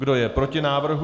Kdo je proti návrhu?